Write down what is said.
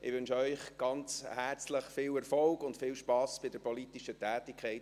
Ich wünsche Ihnen von Herzen viel Erfolg und Spass bei der politischen Tätigkeit.